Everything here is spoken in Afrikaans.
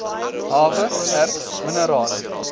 hawe erts minerale